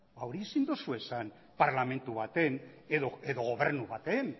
hori ezin duzu esan parlamentu baten edo gobernu baten